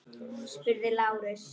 spurði Lárus.